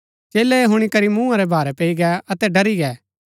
चेलै ऐह हुणी करी मूँहा रै भारै पैई गै अतै ड़री गै